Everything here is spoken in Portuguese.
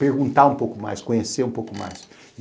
Perguntar um pouco mais, conhecer um pouco mais.